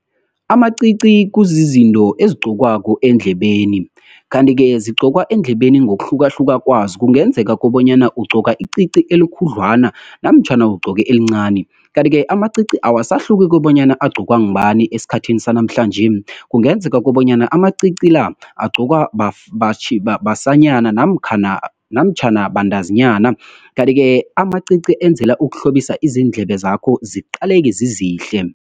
Amacici kuzizinto ezigqokwako eendlebeni, kanti-ke zigqokwa eendlebeni ngokuhlukahluka kwazo. Kungenzeka kobanyana ugqoka icici elikhudlwana, namtjhana ugcoke elincani. Kanti-ke amacici awasahluki kobanyana agcokwa ngubani esikhathini sanamhlanje. Kungenzeka kobanyana amacici la, agcokwa basanyana namtjhana bantazinyana, kanti-ke amacici enzela ukuhlobisa izindlebe zakho ziqaleke zizihle.